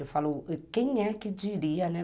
Eu falo, quem é que diria, né?